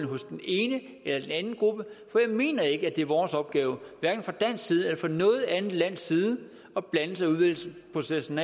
hos den ene eller den anden gruppe for jeg mener ikke det er vores opgave hverken fra dansk side eller fra noget andet lands side at blande sig i udvælgelsesprocessen